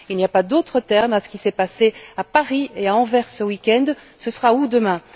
Il n'y a pas d'autre terme à ce qui s'est passé à Paris et à Anvers ce week end. Ce sera où demain?